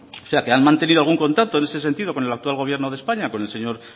o sea que han mantenido algún contacto en ese sentido con el actual gobierno de españa con el señor